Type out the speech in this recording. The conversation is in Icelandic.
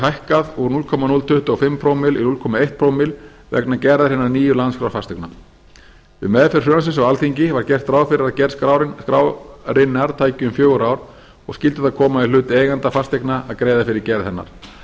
hækkað úr núll komma núll tuttugu og fimm prómillum í núll komma eitt prómill vegna hinnar nýju landskrár fasteigna við meðferð frumvarpsins á alþingi var gert ráð fyrir að gerð skrárinnar tæki um fjögur ár og skyldi það koma í hlut eigenda fasteigna að greiða fyrir gerð hennar